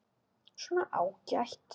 Svona, ágætt.